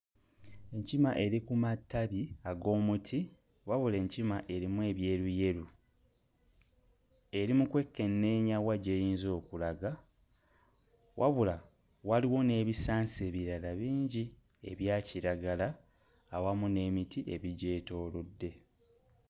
Enkima eri ku matabi ag'omuti wabula enkima erimu ebyeruyeru eri mu kwekenneenya wa gy'eyinza okulaga. Wabula, waliwo n'ebisansa ebirala bingi ebya kiragala awamu n'emiti ebigyetoolodde.